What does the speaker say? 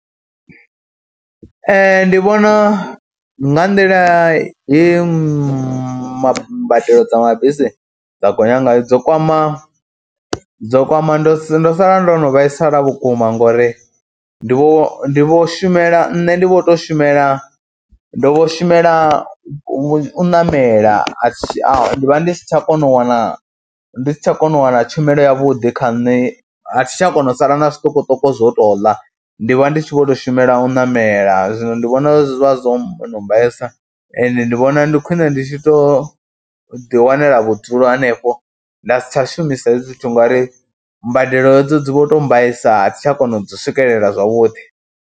Ndi vhona nga nḓila ye mbadelo dza mabisi dza gonya ngayo dzo kwama, dzo kwama ndo ndo sala ndo no vhaisala vhukuma ngori ndi vho ndi vho shumela, nṋe ndi vho tou shumela ndo shumela u ṋamela a tshi, ndi vha ndi si tsha kona u wana, ndi si tsha kona u wana tshumelo yavhuḓi kha nṋe, a thi tsha kona u sala na zwiṱukuṱuku zwo tou ḽa, ndi vha ndi tshi vho tou shumela u ṋamela. Zwino ndi vhona zwi vha zwo no mbaisa ende ndi vhona ndi khwine ndi tshi tou ḓiwanela vhudzulo hanefho nda si tsha shumisa hezwi zwithu ngori mbadelo hedzo dzi vho tou mbaisa a thi tsha kona u dzi swikelela zwavhuḓi.